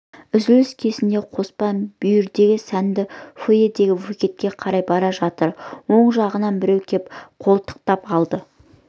үзіліс кезінде қоспан бүйірдегі сәнді фоэдегі буфетке қарай бара жатыр оң жағынан біреу кеп қолтықтап алды